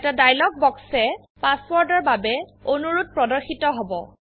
এটা ডায়লগ বক্সএ পাসওয়াৰ্ডৰ বাবে অনুৰোধ প্ৰদৰ্শিত হব